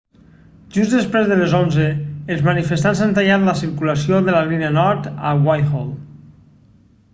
just després de les 11:00 els manifestants han tallat la circulació de la línia nord a whitehall